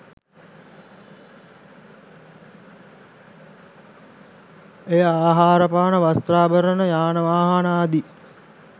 එය ආහාරපාන වස්ත්‍රාභරණ යානවාහනාදී